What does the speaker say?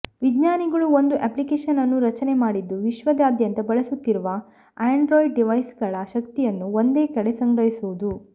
ವಿಜ್ಞಾನಿಗಳು ಒಂದು ಅಪ್ಲಿಕೇಶನ್ ಅನ್ನು ರಚನೆ ಮಾಡಿದ್ದು ವಿಶ್ವದಾದ್ಯಂತ ಬಳಸುತ್ತಿರುವ ಆಂಡ್ರಾಯ್ಡ್ ಡಿವೈಸ್ಗಳ ಶಕ್ತಿಯನ್ನು ಒಂದೇ ಕಡೆ ಸಂಗ್ರಹಿಸುವುದು